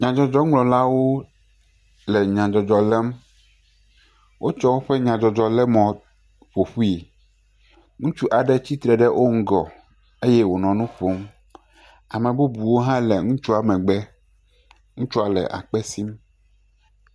Nyadzɔdzɔŋlɔlawo le nyadzɔdzɔ lém. Wotsɔ woƒe nyadzɔdzɔlémɔ ƒoƒui. Ŋutsu aɖe tsitre ɖe wo ŋgɔ eye wonɔ nu ƒom. Ame bubuwo hã le ŋutsua megbe. Ŋutsua le akpe sim.